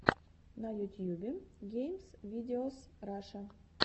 на ютьюбе геймс видеос раша